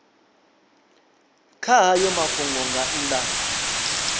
kha hayo mafhungo nga nnḓa